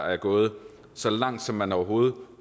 er gået så langt som man overhovedet